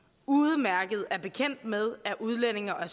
udmærket er bekendt med er udlændinge og